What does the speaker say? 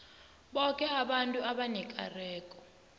boke abantu abanekareko